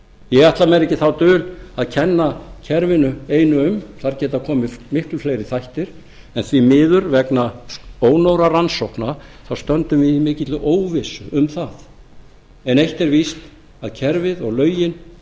ég ætla mér ekki þá dul að kenna kerfinu einu um þar geta komið miklu fleiri þættir en því miður vegna ónógra rannsókna þá stöndum við í mikilli óvissu um það en eitt er víst að kerfið og lögin